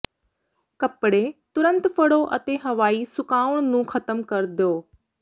ਕੱਪੜੇ ਤੁਰੰਤ ਫੜੋ ਅਤੇ ਹਵਾਈ ਸੁਕਾਉਣ ਨੂੰ ਖਤਮ ਕਰਨ ਦਿਓ